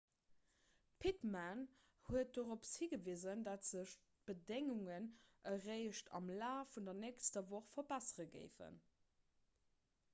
d'pittman huet dorop higewisen datt sech d'bedéngungen eréischt am laf vun der nächster woch verbessere géifen